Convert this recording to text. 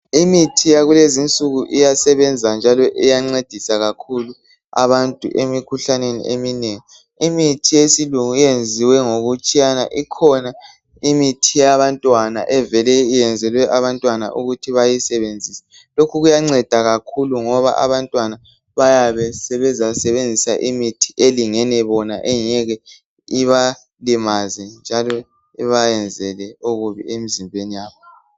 Imithi yakulezi insuku iyasebenza njalo iyancedisa kakhulu abantu emikhuhlaneni eminengi. Imithi yesilungu eyenziwe ngokutshiyana ikhona imithi yabantwana evele iyenzelwe abantwana ukuthi bayisenzise. Lokhu kuyanceda kakhulu ngoba abantwana bayabe sebeza sebenzisa imithi elingene bona engeke ibalimaze njalo iba yenzele okubi emzimbeni yabo.